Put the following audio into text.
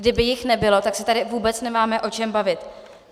Kdyby jich nebylo, tak se tady vůbec nemáme o čem bavit.